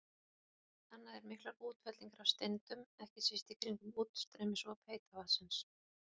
Annað er miklar útfellingar af steindum, ekki síst í kringum útstreymisop heita vatnsins.